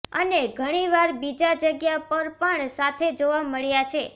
અને ઘણી વાર બીજા જગ્યા પર પણ સાથે જોવા મળ્યા છે